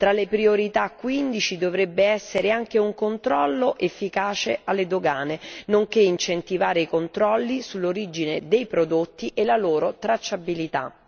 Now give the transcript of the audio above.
Tra le priorità, quindi, ci dovrebbero essere anche un controllo efficace alle dogane nonché l'incentivazione di controlli sull'origine dei prodotti e la loro tracciabilità.